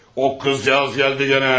O qızcığaz gəldi gənə.